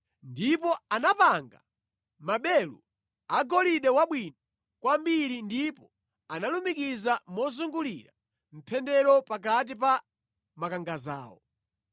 Ndipo anapanga maberu agolide wabwino kwambiri ndipo analumikiza mozungulira mpendero pakati pa makangadzawo.